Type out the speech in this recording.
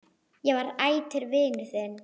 Ég verð ætíð vinur þinn.